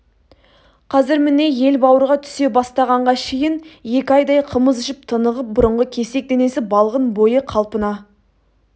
қазір міне ел бауырға түсе бастағанға шейін екі айдай қымыз ішіп тынығып бұрынғы кесек денесі балғын бойы қалпына